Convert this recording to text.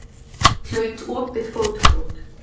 Hlaut opið fótbrot